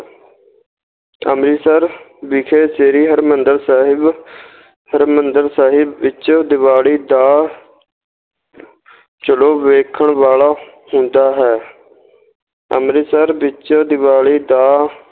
ਅੰਮ੍ਰਤਿਸਰ ਵਿਖੇ ਸ੍ਰੀ ਹਰਿਮੰਦਰ ਸਾਹਿਬ ਹਰਿਮੰਦਰ ਸਾਹਿਬ ਵਿੱਚ ਦਿਵਾਲੀ ਦਾ ਜਲੌ ਵੇਖਣ ਵਾਲਾ ਹੁੰਦਾ ਹੈ ਅੰਮ੍ਰਿਤਸਰ ਵਿੱਚ ਦਿਵਾਲੀ ਦਾ